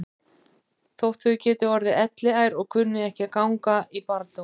Þótt þau geti orðið elliær og kunni ekki að ganga í barndóm.